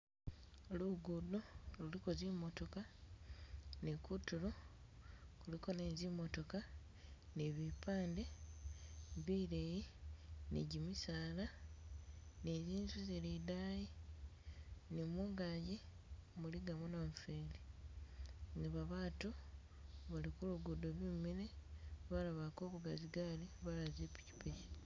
Lugudo luliko zi motoka, ni kutulo kuliko ne zimotoka, ni bipande bileyi, ni kyimisaala, ni zi'nzu zili idayi ni mungagi muligamo namufeeli, niba batu bali ku lugudo bimile balala bali kuvuga zigaali balala zi pikyipikyi